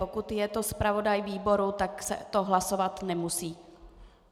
Pokud je to zpravodaj výboru, tak se to hlasovat nemusí.